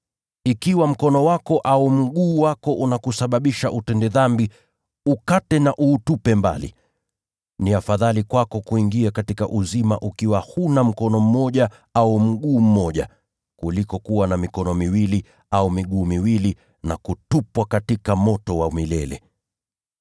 Ikiwa mkono wako au mguu wako unakusababisha utende dhambi, ukate na uutupe mbali. Ni afadhali kwako kuingia katika uzima ukiwa huna mkono mmoja au mguu mmoja, kuliko kuwa na mikono miwili au miguu miwili, na kutupwa katika moto wa milele.